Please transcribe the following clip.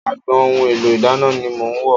Agbọn ohun èlò ìdáná ni mò ń wò.